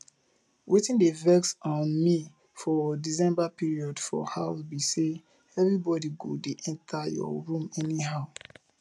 wetin dey vex um me for december period for house be say everybody go dey enter your room anyhow